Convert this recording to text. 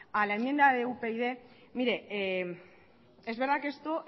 a la enmienda de upyd mire es verdad que esto